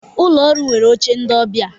Ụlọ ọrụ nwere oche ndị ọbịa